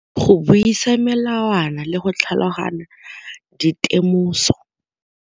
Go buisa melawana le go tlhaloganya di temoso.